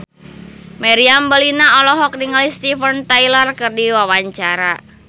Meriam Bellina olohok ningali Steven Tyler keur diwawancara